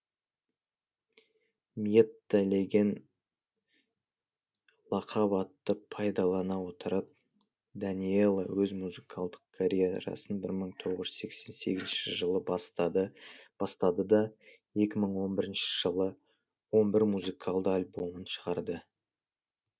мьетта леген лақап атты пайдалана отырып даниэла өз музыкалдық карьерасын бір мың тоғыз жүз сексен сегізінші жылы бастады да екі мың он бірінші жылы он бір музыкалды альбомын шығарды